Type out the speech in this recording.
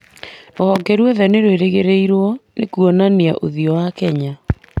Rũhonge rwothe nĩ rwagĩrĩirwo nĩ kuonania ũthiũ wa Kenya,